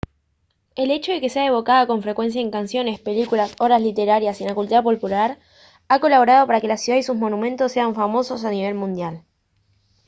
el hecho de que sea evocada con frecuencia en canciones películas obras de literatura y en la cultura popular ha colaborado para que la ciudad y sus monumentos sean famosos a nivel mundial